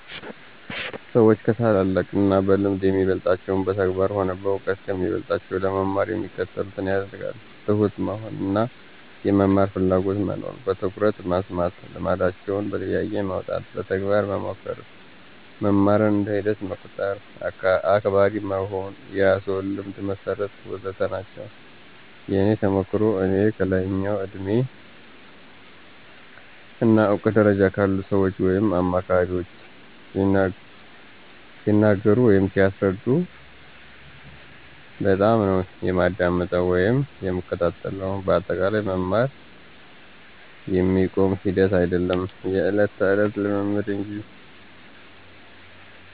ሰዎች ከታላላቅ እና በልምድ የሚበልጣቸውን በተግባር ሆነ በእውቀት ከሚበልጦቸው ለመማር የሚከተሉትን ያደርጋሉ፦ ትሁት መሆን እና የመማር ፍላጎትና መኖር፣ በትኩረት መስማት፣ ልምዳቸውን በጥያቄ ማውጣት፣ በተግባር መሞከር፣ መማርን እንደ ሂደት መቁጠር፣ አክባሪ መሆን፣ የራስዎን ልምድ መሠርት... ወዘተ ናቸው። የእኔ ተሞክሮ፦ እኔ ከላይኛው የእድሜ እና እውቀት ደረጃ ካሉ ሰዎች ወይም አማካሪዎች ሲነገሩ ወይም ሲያስረዱ በጣምነው የማዳምጠው ወይም የምከታተለው በአጠቃላይ መማር የሚቆም ሂደት አይዶለም የዕለት ተዕለት ልምምድ እንጂ።